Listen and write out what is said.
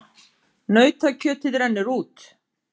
Nautakjötið rennur út